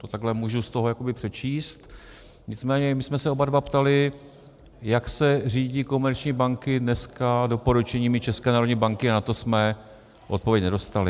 To takhle můžu z toho jakoby přečíst, nicméně my jsme se oba dva ptali, jak se řídí komerční banky dneska doporučeními České národní banky, a na to jsme odpověď nedostali.